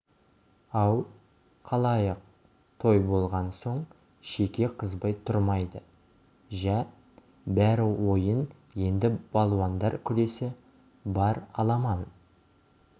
ау халайық той болған соң шеке қызбай тұрмайды жә бәрі ойын енді балуандар күресі бар аламан